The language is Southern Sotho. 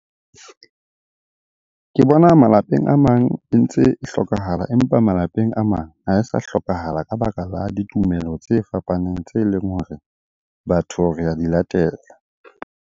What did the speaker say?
Ke bona malapeng a mang e ntse e hlokahala, empa malapeng a mang ha e sa hlokahala ka baka la ditumelo tse fapaneng tse leng hore batho re a di latela.